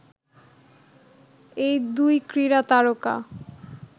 এই দুই ক্রীড়া তারকা